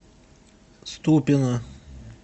ступино